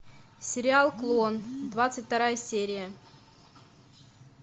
сериал клон двадцать вторая серия